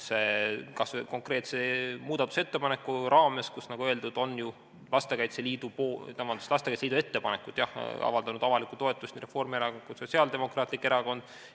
Kas või konkreetse muudatusettepaneku raames, nagu öeldud, on ju Lastekaitse Liidu ettepanekule avaldanud avalikku toetust nii Reformierakond kui ka Sotsiaaldemokraatlik Erakond.